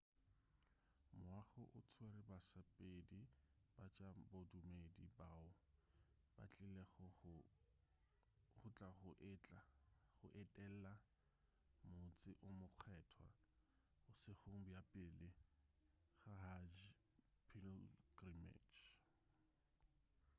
moago o tswere basepedi ba tša bodumedi bao ba tlilego go tla go etela motse o mokgethwa bošegong bja pele ga hajj pilgrimage